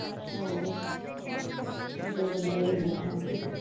ਹੋਰ, ਬੁੱਢੇ ਬੰਦੇ .